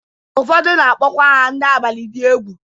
Ụfọdụ na-akpọkwa ha ndị abalị dị egwu.